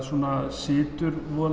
situr